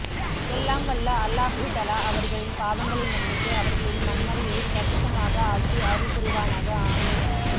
எல்லாம் வல்ல அல்லாஹுதலா அவர்களின் பாவங்களை மன்னித்து அவர்களின் மண்ணறையை பிரஹசமாக ஆக்கி அருள் புரிவானாக ஆமின்